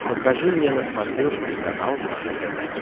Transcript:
покажи мне на смотрешке канал нано тв